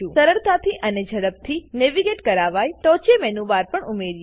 ચાલો સરળતાથી અને ઝડપથી નેવિગેટ કરાવાય એ માટે ટોંચે મેનુ બાર પણ ઉમેરીએ